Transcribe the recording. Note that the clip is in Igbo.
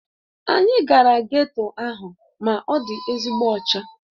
Anyị gara geto ahụ ma ọ dị ezigbo ọcha